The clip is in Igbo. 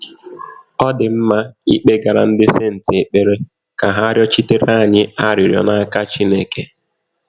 Ọ̀ dị mma ịkpegara “ ndị senti ” ekpere ka ha rịọchitere ha rịọchitere anyị arịrịọ n’aka Chineke?